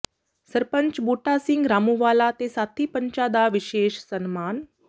ਸਰਪੰਚ ਬੂਟਾ ਸਿੰਘ ਰਾਮੂੰਵਾਲਾ ਤੇ ਸਾਥੀ ਪੰਚਾਂ ਦਾ ਵਿਸ਼ੇਸ਼ ਸਨਮਾਨ